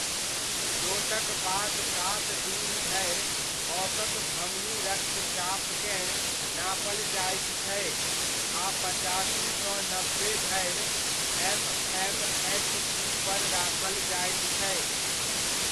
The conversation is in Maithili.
चोटक बाद सात दिन धरि औसत धमनी रक्तचापकेँ नापल जाइत छै आ पचासी सँ नब्बे धरि एम.एम.एच.जी. पर राखल जाइत छै।